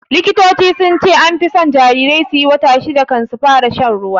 Likitoci sunce anfi son jarirai suyi wata shida kan su fara shan ruwa